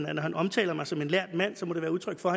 at når han omtaler mig som en lærd mand så må det være udtryk for